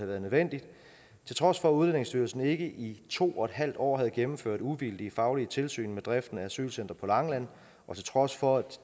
været nødvendigt til trods for at udlændingestyrelsen ikke i to en halv år havde gennemført uvildige faglige tilsyn med driften af asylcenteret på langeland og til trods for